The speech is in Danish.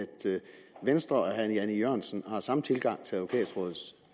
venstre og herre jan e jørgensen har den samme tilgang til advokatrådets